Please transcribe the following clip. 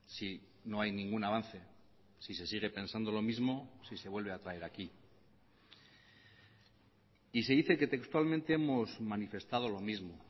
si no hay ningún avance si se sigue pensando lo mismo si se vuelve a traer aquí y se dice que textualmente hemos manifestado lo mismo